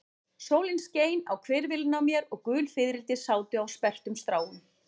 Sólin skein á hvirfilinn á mér og gul fiðrildi sátu á sperrtum stráum.